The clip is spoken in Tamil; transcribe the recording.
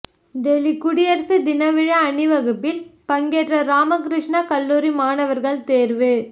டெல்லி குடியரசு தின விழா அணிவகுப்பில் பங்கேற்க ராமகிருஷ்ணா கல்லூரி மாணவர்கள் தேர்வு